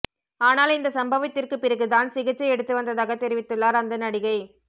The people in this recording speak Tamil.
ஆனால் இந்த சம்பவத்திற்கு பிறகு தான் சிகிச்சை எடுத்து வந்ததாக தெரிவித்துள்ளார் அந்த நடிகை